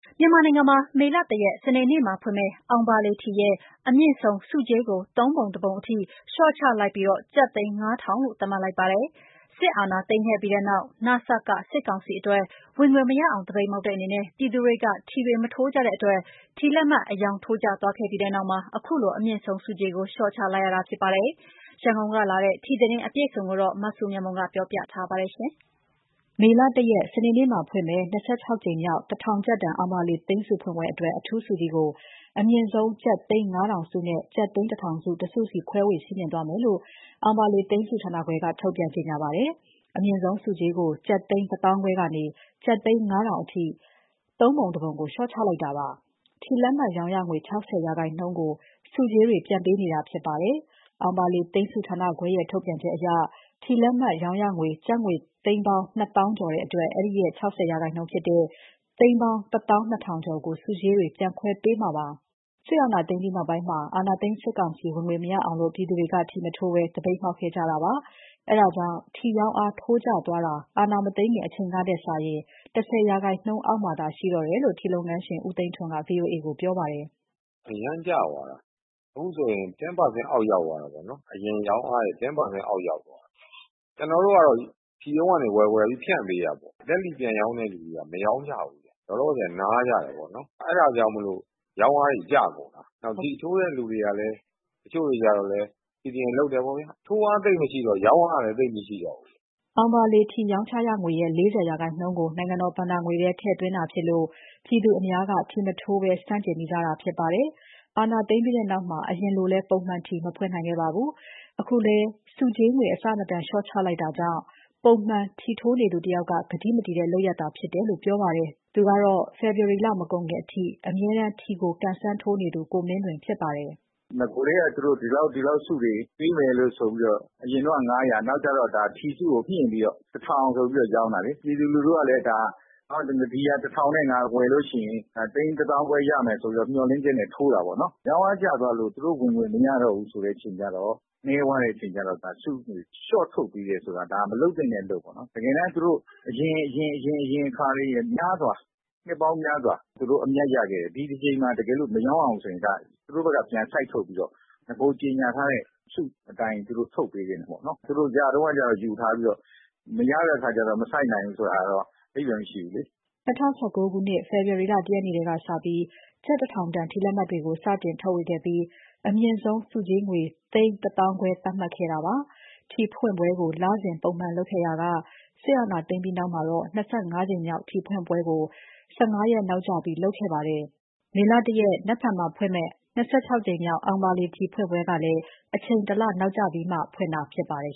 မြန်မာနိုင်ငံမှာ မေလ ၁ ရက် စနေနေ့မှာဖွင့်မယ့် အောင်ဘာလေထီရဲ့ အမြင့်ဆုံး ဆုကြေးကို ၃ ပုံ ၁ ပုံ အထိ လေ ျှာ့ချလိုက်ပြီး ကျပ် သိန်း ၅,၀၀၀ ထောင်လို့ သတ်မှတ်လိုက်ပါတယ်။ စစ်အာဏာသိမ်းခဲ့ပြီးနောက် နစက စစ်ကောင်စီအတွက် ဝင်ငွေမရအောင် သပိတ်မှောက်တဲ့အနေနဲ့ ပြည်သူတွေက ထီတွေ မထိုးကြတဲ့အတွက် ထီလက်မှတ်အရောင်း ထိုးကျသွားခဲ့တဲ့ပြီးနောက် အခုလို အမြင့်ဆုံးဆုကြေးကို လျှော့ချလိုက်ရတာဖြစ်ပါတယ်။ ရန်ကုန်ကလာတဲ့ ထီသတင်းအပြည့်အစုံကို မစုမြတ်မွန်က ပြောပြထားပါတယ်။ မေလ ၁ ရက်နေ့မှာဖွင့်မယ့် ၂၆ ကြိမ်မြောက် ၁,၀၀၀ ကျပ်တန် အောင်ဘာလေ သိန်းဆုဖွင့်ပွဲအတွက် အထူးဆုကြီးကို အမြင့်ဆုံး ကျပ်သိန်း ၅,၀၀၀ ဆုနဲ့ ကျပ်သိန်း ၁,၀၀၀ ဆု တစ်ဆုစီ ခွဲဝေချီးမြှင့်သွားမယ်လို့ အောင်ဘာလေသိန်းဆုဌာနခွဲက ထုတ်ပြန်ကြေညာပါတယ်။ အမြင့်ဆုံးဆုကြေးကို အရင်က ကျပ်သိန်း ၁၅,၀၀၀ ခွဲကနေ ကျပ်သိန်း ၅,၀၀၀ ထောင်အထိ ၃ ပုံ ၁ ပုံ လေ ျှာ့ချလိုက်ရတာပါ။ ထီလက်မှတ်ရောင်းရငွေ ၆၀% ကို ဆုကြေးတွေ ပြန်ပေးတာဖြစ်ပြီး အောင်ဘာလေ သိန်းဆုဌာနခွဲရဲ့ ထုတ်ပြန်ချက်အရ ထီလက်မှတ်ရောင်းရငွေ ကျပ်ငွေ သိန်းပေါင်း ၂၀,၀၀၀ ကျော်ရှိတဲ့အတွက် အဲဒီ ၆၀% ဖြစ်တဲ့ သိန်းပေါင်း ၁၂,၀၀၀ ကျော်ကို ဆုကြေးတွေ ပြန်ခွဲပေးမှာဖြစ်ပါတယ်။ စစ်အာဏာသိမ်းပြီးနောက်ပိုင်း အာဏာသိမ်းစစ်ကောင်စီ ဝင်ငွေမရအောင် ပြည်သူတွေက ထီမထိုးဘဲ သပိတ်မှောက်ခဲ့ကြတာပါ။ ဒါကြောင့် ထီရောင်းအား ထိုးကျသွားပြီး အာဏာမသိမ်းခင်အချိန်ထက်စာရင် ၁၀% ရာခိုင်နှုန်းအောက် ရောက်သွားတယ်လို့ ထီလုပ်ငန်းရှင် ဦးသိန်းထွန်းက VOA ကိုပြောပါတယ်။ အရမ်းကျသွားတာ။ အခုဆိုရင် အရင်ရောင်းအားရဲ့ ၁၀% အောက် ရောက်သွားတာ။ ကျနော်တို့ကတော့ ထီးရုံးကနေဝယ်ပြီး ဖြန့်ပေးတာပေါ့၊ လက်လီပြန်ရောင်းတဲ့သူတွေက မရောင်းကြဘူးဗျ၊ လောလောဆယ် နားကြတယ်ပေါ့နော်။ အဲဒါကြောင့်မို့လို့ ရောင်းအားတွေကျကုန်တာ။ နောက် ထီထိုးတဲ့ တချို့တွေကလည်း CDM လုပ်တယ်ပေါ့ဗျာ။ ထိုးအားသိပ်မရှိတော့ ရောင်းအားကလည်း သိပ်မရှိတော့ဘူး။” အောင်ဘာလေ ထီရောင်းချရငွေရဲ့ ၄၀% ကို နိုင်ငံတော်ဘဏ္ဍာငွေထဲ ထည့်သွင်းတာဖြစ်လို့ ပြည်သူအများ ထီမထိုးဘဲ ဆန့်ကျင်နေကြတာဖြစ်ပါတယ်။ အာဏာသိမ်းပြီးတဲ့နောက်မှာ အရင်လို ပုံမှန် ထီမဖွင့်နိုင်ခဲ့ပါဘူး။ အခုလို ဆုကြေးငွေ အဆမတန် လျှော့ချလိုက်တာကြောင့် ကတိမတည်တဲ့လုပ်ရပ်သာဖြစ်တယ်လို့ ပုံမှန်ထီထိုးနေသူတယောက်က ပြောပါတယ်။ သူကတော့ ဖေဖော်ဝါရီလမတိုင်ခင်အထိ ထီအမြဲကံစမ်းသူ ကိုမင်းလွင်ဖြစ်ပါတယ်။ “နဂိုတည်းက သူတို့ ဒီလောက် ဒီလောက် ဆုတွေပေးမယ်လို့ဆိုပြီးတော့ အရင်တုန်းက ၅၀၀၊ နောက်ကျတော့ ထီဆုကိုမြှင့်ပြီးတော့ ၁,၀၀၀ ဆိုပြီးတော့ ရောင်းတာလေ။ ပြည်သူလူထုကလည်း ၁,၀၀၀ နဲ့ ဝယ်လို့ရှိရင် သိန်း ၁၅,၀၀၀ ရမယ်ဆိုပြီးတော့ မျှော်လင့်ချက်နဲ့ ထိုးတာပေါ့နော်။ ရောင်းအားကျသွားလို့ သူတို့ဝင်ငွေမရတော့ဘူး ဆိုတဲ့အချိန်ကျတော့ ဆုငွေလျှော့ထုတ်ပေးတယ်ဆိုတာ ဒါမလုပ်သင့်တဲ့အလုပ်ပေါ့နော်။ တကယ်တော့ သူတို့ နှစ်ပေါင်းများစွာ သူတို့အမြတ်ရခဲ့တယ်။ ဒီတကြိမ်မှာ တကယ်လို့ မရောင်းရဘူးဆိုရင် သူတို့ဘက်က ပြန်စိုက်ထုတ်ပြီးတော့ နဂိုကြေညာထားတဲ့ဆုအတိုင်း သူတို့ထုတ်ပေးသင့်တယ်ပေါ့နော်။ သူတို့ရတုန်းကကျ ယူထားပြီးတော့ မရတဲ့အခါကျတော့ မစိုက်နိုင်ဘူးဆိုတာကတော့ အဓိပ္ပါယ်မရှိဘူးလေ။” ၂၀၁၉ ခုနှစ် ဖေဖော်ဝါရီလ ၁ ရက်နေ့ကစပြီး ကျပ် ၁,၀၀၀ တန် ထီလက်မှတ်တွေကို စတင်ထုတ်ဝေခဲ့ပြီး အမြင့်ဆုံးဆုကြေးငွေ ကျပ်သိန်း ၁၅,၀၀၀ သတ်မှတ်ခဲ့တာပါ။ ထီဖွင့်ပွဲကို လစဉ် ပုံမှန်လုပ်ခဲ့ရာက စစ်အာဏာသိမ်းပြီးနောက် ၂၅ ကြိမ်မြောက် ထီဖွင့်ပွဲ ၁၅ ရက်နောက်ကျခဲ့ပါတယ်။ ဧပြီလ ၁ရက်နေ့မှာ ဖွင့်လှစ်မယ့် ၂၆ ကြိမ်မြောက် ထီဖွင့်ပွဲကိုလည်း အချိန် ၁ လ နောက်ကျပြီးမှ ဖွင့်တာဖြစ်ပါတယ်